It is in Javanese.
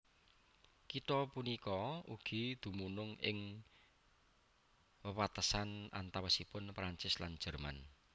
Kitha punika ugi dumunung ing wewatesan antawisipun Prancis lan Jerman